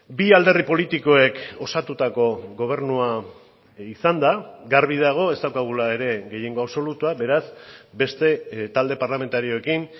bi alderdi politikoek osatutako gobernua izan da garbi dago ez daukagula ere gehiengo absolutua beraz beste talde parlamentarioekin